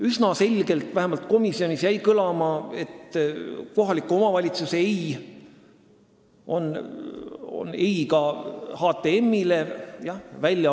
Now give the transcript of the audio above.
Üsna selgelt, vähemalt komisjonis jäi nii kõlama, on kohaliku omavalitsuse "ei" ka HTM-i jaoks "ei".